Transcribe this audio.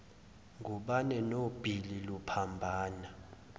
ngubane nobhili luphambana